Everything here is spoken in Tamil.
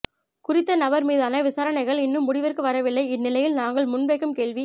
குறித்த நபர் மீதான விசாரணைகள் இன்னும் முடிவிற்கு வரவில்லை இன்னிலையில் நாங்கள் முன்வைக்கும் கேள்வி